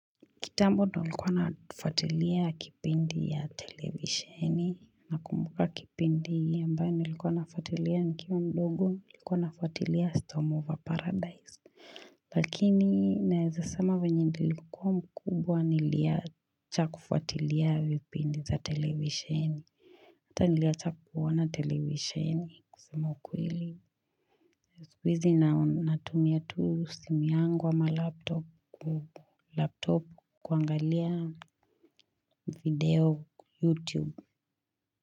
Kitambo ndio nilikuwa nafuatilia kipindi ya televisheni. Nakumbuka kipindi ambayo nilikuwa nafuatilia nikiwa mdogo nilikuwa nafuatilia Storm Over Paradise. Lakini naeza sema venye nilikuwa mkubwa niliacha kufuatilia vipindi za televisheni Hata niliacha kuona televisheni kusema ukweli. Ju siku hizi natumia tu simu yangu ama laptop kuangalia video YouTube.